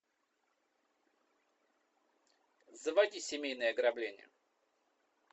заводи семейное ограбление